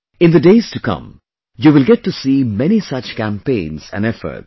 In the days to come, you will get to see many such campaigns and efforts